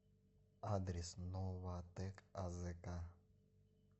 адрес новатэк азк